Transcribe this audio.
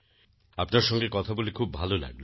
আপনার সঙ্গে কথা বলে খুব ভালো লাগল